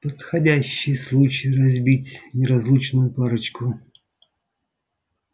подходящий случай разбить неразлучную парочку